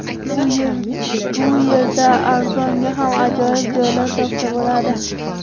Bu yerda arzonga ham ajoyib joylar topsa bo‘ladi.